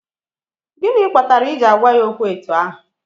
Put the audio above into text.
Gịnị kpatara i ji agwa ya okwu etu ahụ?